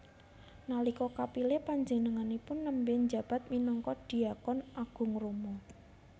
Nalika kapilih panjenenganipun nembé njabat minangka dhiakon agung Roma